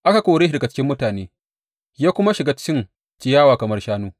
Aka kore shi daga cikin mutane ya kuma shiga cin ciyawa kamar shanu.